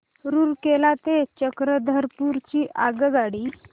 रूरकेला ते चक्रधरपुर ची आगगाडी